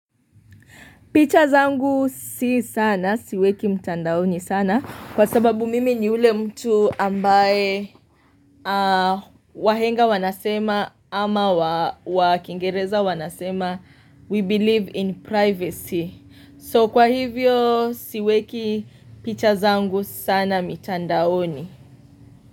Picha zangu si sana siweki mtandaoni sana kwa sababu mimi ni ule mtu ambaye wahenga wanasema ama wakingereza wanasema we believe in privacy. So kwa hivyo siweki picha zangu sana mitandaoni.